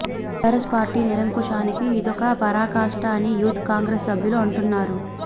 TR S party నిరంకుశానికి ఇదొక పరాకాష్ట అని యూత్ కాంగ్రెస్ సభ్యులు అంటున్నారు